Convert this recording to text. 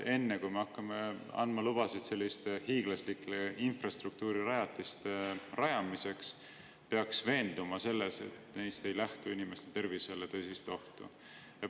Enne, kui me hakkame andma lubasid selliste hiiglaslike infrastruktuurirajatiste jaoks, peaks ju veenduma, et neist ei lähtu inimeste tervisele tõsist ohtu.